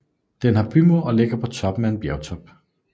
Den har bymur og ligger på toppen af en bjergtop